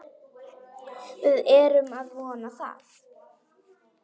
Við erum að vona það.